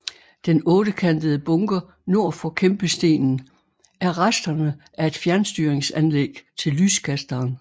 Den ottekantede bunker nord for kæmpestenen er resterne af et fjernstyringsanlæg til lyskasteren